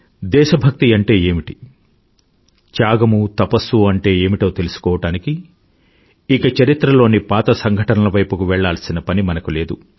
దేశభక్తి అంటే ఏమిటి త్యాగము తపస్సు అంటే ఏమిటో తెలుసుకోవడానికి ఇక చరిత్రలోని పాత సంఘటనల వైపుకి వెళ్ళాల్సిన పని మనకు లేదు